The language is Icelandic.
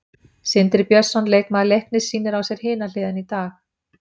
Sindri Björnsson, leikmaður Leiknis sýnir á sér hina hliðina í dag.